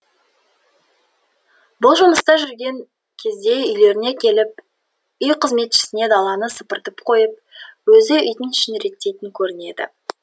бұл жұмыста жүрген кезде үйлеріне келіп үй қызметшісіне даланы сыпыртып қойып өзі үйдің ішін реттейтін көрінеді